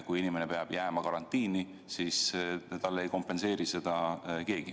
Kui inimene peab jääma karantiini, siis talle ei kompenseeri seda keegi.